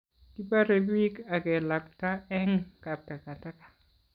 kiborei biik akelakta eng' kaptakataka